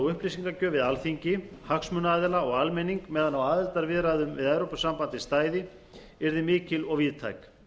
upplýsingagjöf við alþingi hagsmunaaðila og almenning meðan á aðildarviðræðum við evrópusambandið stæði yrði mikil og víðtæk